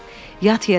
Yat yerə.